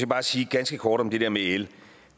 bare sige ganske kort om det der med el